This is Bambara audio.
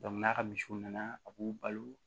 n'a ka misiw nana a b'u balo